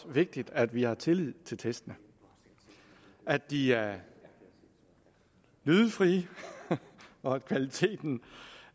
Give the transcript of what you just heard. vigtigt at vi har tillid til testene at de er lydefrie og at kvaliteten